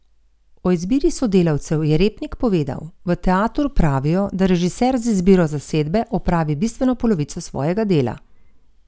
O izbiri sodelavcev je Repnik povedal: 'V teatru pravijo, da režiser z izbiro zasedbe opravi bistveno polovico svojega dela.